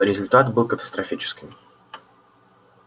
результат был катастрофическим